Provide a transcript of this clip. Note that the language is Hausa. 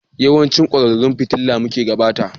Yawancin kwararan fitila muke bukata?